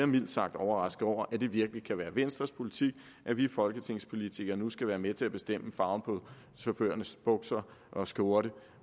mildt sagt overrasket over at det virkelig kan være venstres politik at vi folketingspolitikere nu skal være med til at bestemme farven på chaufførernes bukser og skjorte